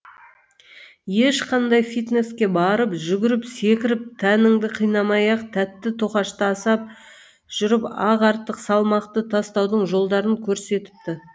ешқандай фитнеске барып жүгіріп секіріп тәніңді қинамай ақ тәтті тоқашты асап жүріп ақ артық салмақты тастаудың жолдарын көрсетіпті